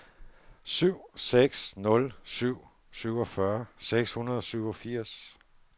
syv seks nul syv syvogfyrre seks hundrede og syvogfirs